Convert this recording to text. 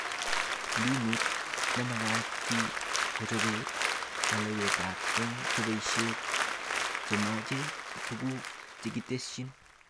Mbinut nemagat fee kochobe kalewelet eng cheboishee chemache tuguk chekitesyi